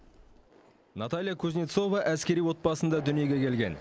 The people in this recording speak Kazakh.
наталья кузнецова әскери отбасында дүниеге келген